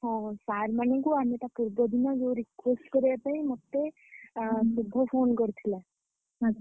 ହଁ sir ମାନଙ୍କୁ ଆମେ ତା ପୂର୍ବ ଦିନ request କରିଆ ପାଇଁ ମତେ ଶୁଭ phone କରିଥିଲା। ।